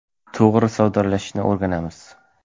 To‘g‘ri savdolashishni o‘rganamiz.